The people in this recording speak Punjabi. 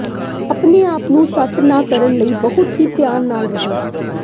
ਆਪਣੇ ਆਪ ਨੂੰ ਸੱਟ ਨਾ ਕਰਨ ਲਈ ਬਹੁਤ ਹੀ ਧਿਆਨ ਨਾਲ ਰਹੋ